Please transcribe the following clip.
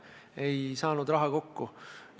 Ei saanud raha kokku.